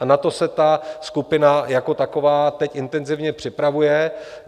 A na to se ta skupina jako taková teď intenzivně připravuje.